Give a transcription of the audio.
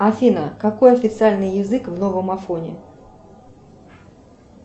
афина какой официальный язык в новом афоне